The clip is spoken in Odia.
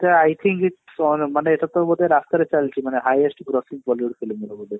ତ I think its ମାନେ ଏଟା କୋଉ ଗୋଟେ ରାସ୍ତା ରେ ଚାଲିଛି ମାନେ highest ପୁରା film ବୋଧେ